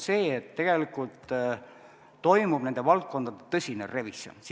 Sellepärast, et tegelikult toimub sisuliselt nende valdkondade tõsine revisjon.